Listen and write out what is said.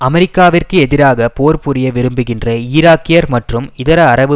அமெரிக்காவிற்கு எதிராக போர்புரிய விரும்புகின்ற ஈராக்கியர் மற்றும் இதர அரபு